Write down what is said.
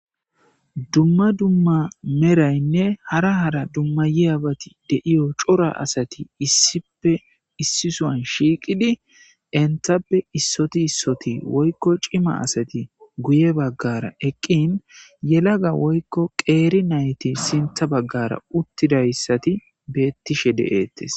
Dumam dumma merraynne harra harra dummayibbatti de77iya corra asatti iss suwan issippe shiqqidi enttappe issoti issoti woykko ci.ma asati guye baggara eqqin yallaga qerri npaytti si ths baggarra uttidayssi bettishe dettes.